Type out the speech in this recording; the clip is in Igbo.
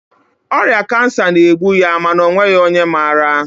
ọrịa kansa na-egbu ya mana ọ nweghị onye maara